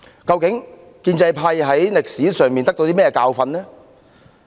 究竟建制派從歷史中汲取了甚麼教訓呢？